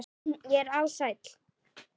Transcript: Ég er alsæll.